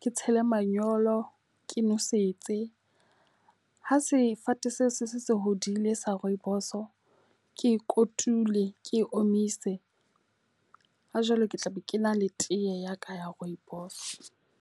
ke tshele manyolo ke nosetse. Ha sefate seo se se se hodile sa rooibos ke kotule ke omise ha jwale ke tla be ke na le tee ya ka ya rooibos.